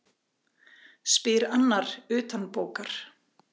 spyr annar utanbókar.